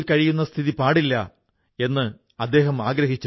അങ്ങനെയുള്ള കർമ്മകുശലരായ ആളുകളിലൊരാളാണ് മംജൂർ അഹമദ അലാഈ